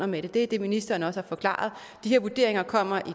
med det er det ministeren også har forklaret de her vurderinger kommer i to